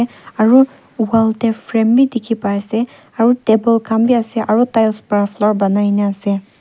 aru wall tae frame bi dikhipa ase aru table khan bi asearo tiles pra floor banai na ase.